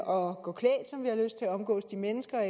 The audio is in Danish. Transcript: og at omgås de mennesker